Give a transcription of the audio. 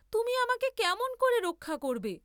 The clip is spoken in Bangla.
তুমি আমাকে কেমন করে রক্ষা করবে?